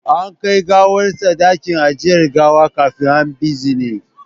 An kai gawarsa dakin ajiye gawa kafin a bizine